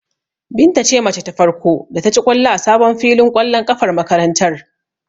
Binta ce mace ta farko da ta ci ƙwallo a sabon filin ƙwallon ƙafar makarantar.